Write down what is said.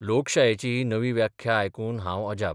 लोकशायेची ही नवी व्याख्या आयकून हांव अजाप.